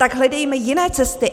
Tak hledejme jiné cesty.